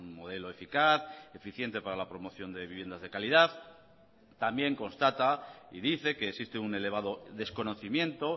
modelo eficaz eficiente para la promoción de viviendas de calidad también constata y dice que existe un elevado desconocimiento